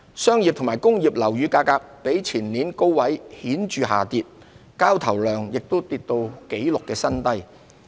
商業及工業樓宇價格比前年高位顯著下跌，交投量亦跌至紀錄新低。